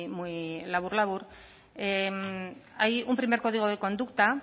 muy labur labur hay un primer código de conducta